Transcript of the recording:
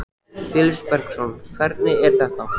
Felix Bergsson: Hvernig er þetta?